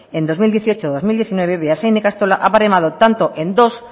en dos mil dieciocho dos mil diecinueve beasain ikastola ha baremado tanto en dos